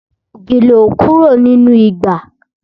Gèlè ò kúrò nínú ìgbà